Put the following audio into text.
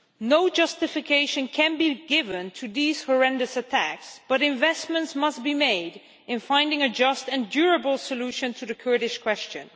No justification can be given for these horrendous attacks, but investments must be made in finding a just and durable solution to the Kurdish question.